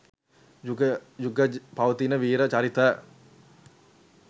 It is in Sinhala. යුග යුග පවතින වීර චරිත